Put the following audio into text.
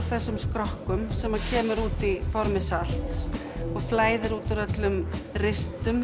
þessum skrokkum sem kemur út í formi salts og flæðir út um öllum